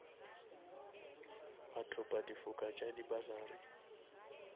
bathopa difoka tša di bursary